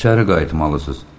İçəri qayıtmalısız.